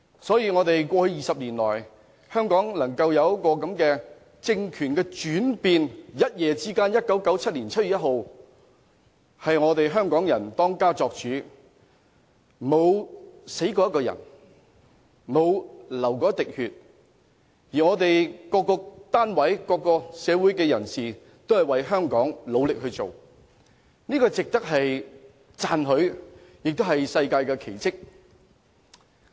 在20年前，香港出現了政權轉變，在1997年7月1日，一夜之間香港人當家作主，沒死過一個人，沒流過一滴血，各單位和社會人士都為香港努力做事，這是值得讚許的，也是一項世界奇蹟。